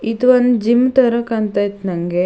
ಇದು ಒಂದು ಜಿಮ್ ತರ ಕಾಣತೈತ್ ನಂಗೆ.